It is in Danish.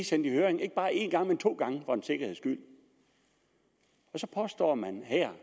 sendt i høring ikke bare en gang men to gange for en sikkerheds skyld og så påstår man her